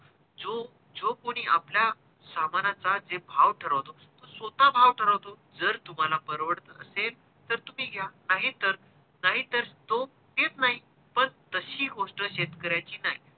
जो, जो कोणी आपल्या सामानाचा जे भाव ठरवतो तो स्वतः भाव ठरवतो जर तुम्हाला परवडत असेल तर तुम्ही घ्या नाही तर नाही तर तो घेत नाही पण तशी गोष्ट शेतकऱ्याची नाही.